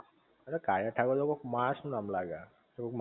ઍટલે કાળિયા ઠાકોર તો કોઈક માણસ નું નામ લાગહ